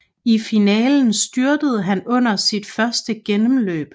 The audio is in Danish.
I finalen styrtede han under sit første gennemløb